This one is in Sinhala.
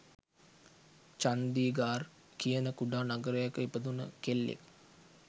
චන්දිගාර් කියන කුඩා නගරයක ඉපැදුන කෙල්ලෙක්